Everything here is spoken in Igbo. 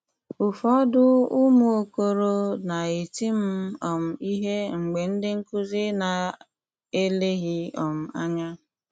Ụfọdụ ụmụ okoro na-eti m um ihe mgbe ndị nkụzi na-eleghị um anya.